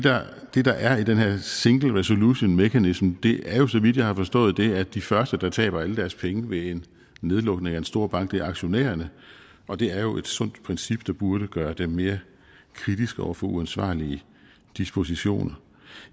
det der er i den her single resolution mechanism er jo så vidt jeg har forstået det at de første der taber alle deres penge ved en nedlukning af en stor bank er aktionærerne og det er jo et sundt princip der burde gøre dem mere kritiske over for uansvarlige dispositioner